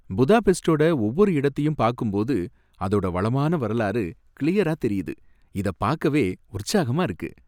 புதாபெஸ்டோட ஒவ்வொரு இடத்தையும் பாக்கும் போது அதோட வளமான வரலாறு கிளியரா தெரியுது, இத பாக்கவே உற்சாகமா இருக்கு.